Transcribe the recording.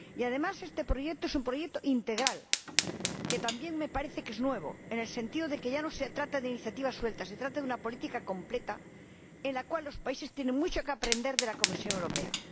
Además, este proyecto es un proyecto integral, que también me parece novedoso en el sentido de que ya no se trata de iniciativas sueltas, se trata de una política completa, que demuestra que los países tienen mucho que aprender de la Comisión Europea.